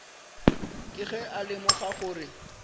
ke ge a lemoga gore